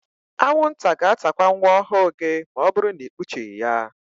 Anwụnta ga-atakwa nwa ọhụụ gị ma ọbụrụ na ikpuchighi ya.